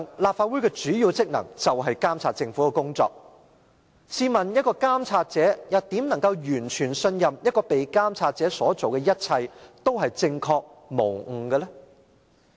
立法會的主要職能是監察政府的工作，試問監察者怎能完全信任被監察者所做的一切都是正確無誤呢？